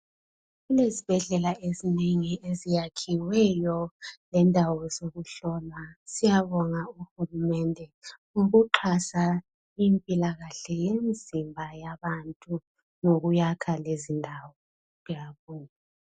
Kulezibhedlela ezinengi ezakhiweyo, lendawo zokuhlola, siyabonga uhulumende ngokuxhasa impilakahle yemizimba yabantu ngokuyakha lezindawo.